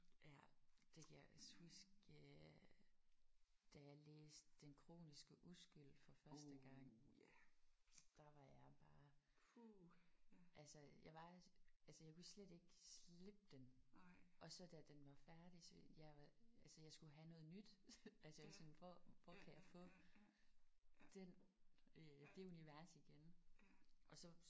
Ja det kan jeg også huske øh da jeg læste Den kroniske uskyld for første gang. Der var jeg bare altså jeg var altså jeg kunne slet ikke slippe den og så da den var færdig så jeg skulle have noget nyt. Altså jeg var sådan hvor hvor kan jeg få den øh det univers igen?